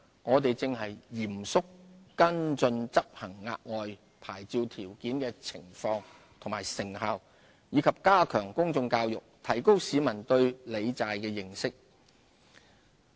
我們正嚴肅跟進執行額外牌照條件的情況和成效，以及加強公眾教育，提高市民對理債的認識。